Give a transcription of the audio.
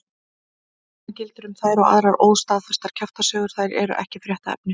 Sama gildir um þær og aðrar óstaðfestar kjaftasögur, þær eru ekki fréttaefni.